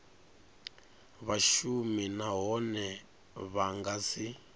vhashumi nahone vha nga si